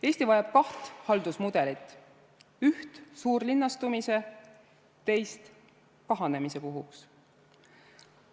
Eesti vajab kaht haldusmudelit, üht suurlinnastumise, teist kahanemise puhuks.